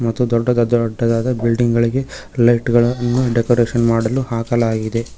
ಮತ್ತು ದೊಡ್ಡದ ದೊಡ್ಡದಾದ ಬಿಲ್ಡಿಂಗ್ ಗಳಿಗೆ ಲೈಟುಗಳನ್ನು ಡೆಕೋರೇಷನ್ ಮಾಡಲು ಹಾಕಲಾಗಿದೆ.